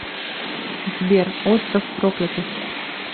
сбер остров проклятых